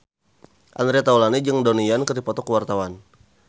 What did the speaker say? Andre Taulany jeung Donnie Yan keur dipoto ku wartawan